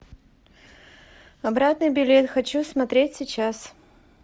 обратный билет хочу смотреть сейчас